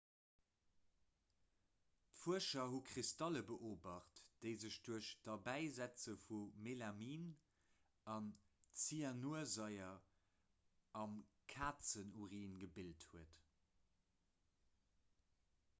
d'fuerscher hu kristalle beobacht déi sech duerch d'derbäisetze vu melamin a zyanursaier am kazenurin gebilt hunn